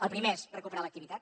el primer és recuperar l’activitat